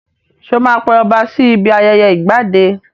Sọ ma pe ọba sí ibi ayẹyẹ ìgbadé?